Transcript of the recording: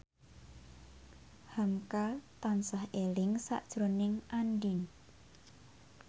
hamka tansah eling sakjroning Andien